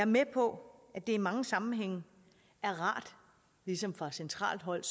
med på det i mange sammenhænge er rart ligesom fra centralt hold